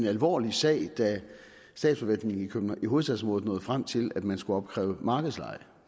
alvorlig sag da statsforvaltningen i hovedstadsområdet nåede frem til at man skulle opkræve markedsleje